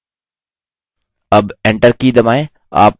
अब enter की दबाएँ